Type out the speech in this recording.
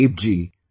Pradeep ji